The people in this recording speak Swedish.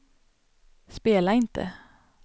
spela inte